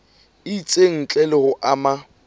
itseng ntle le ho ama